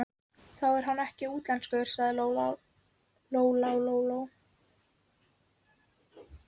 Þá er hann ekkert útlenskur, sagði Lóa Lóa.